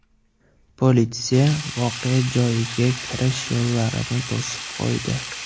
Politsiya voqea joyiga kirish yo‘llarini to‘sib qo‘ydi.